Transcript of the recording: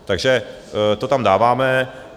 Takže to tam dáváme.